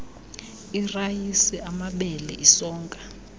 irayisi amabele isonka